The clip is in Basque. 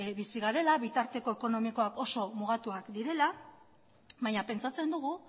bizi garela bitarteko ekonomikoak oso mugatuak direla baina pentsatzen dugu